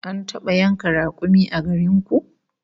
An taba yanka rakumi a garin ku?